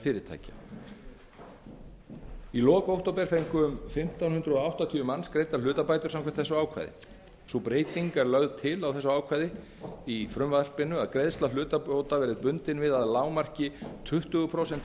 fyrirtækja eða stofnana í lok október fengu um fimmtán hundruð áttatíu manns greiddar hlutabætur samkvæmt þessu ákvæði sú breyting er þó lögð til á þessu ákvæði að greiðsla hlutabóta verður bundin við að lágmarki tuttugu prósenta